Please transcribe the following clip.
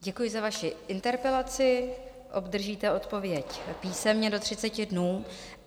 Děkuji za vaši interpelaci, obdržíte odpověď písemně do 30 dnů.